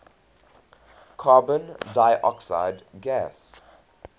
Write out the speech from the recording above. carbon dioxide gas